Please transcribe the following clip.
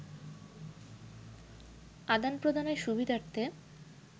আদান-প্রদানের সুবিধার্থে